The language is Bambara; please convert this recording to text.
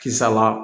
Kisala